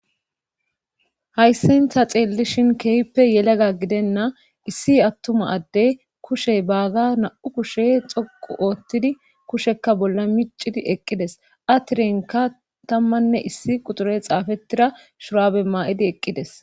hayssan ta xeellishin keehippe yelega gidenna issi attuma addey kushe baaga na7u kushe xoqu oottidi kushekka bolla miccidi eqqides atirenka tammanne issi quxure xaafettira shuraabe maa7idi eqqides